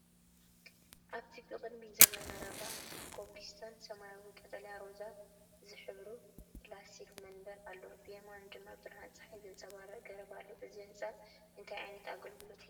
ኣብቲ ብቕድሚት ዘሎ መረባ ብኮብልስቶን፡ ሰማያዊ፡ ቀጠልያን ሮዛን ዝሕብሩ ፕላስቲክ መንበር ኣሎ። ብየማን ድማ ብርሃን ጸሓይ ዘንጸባርቕ ገረብ ኣሎ። እዚ ህንጻ እንታይ ዓይነት ኣገልግሎት ይህብ?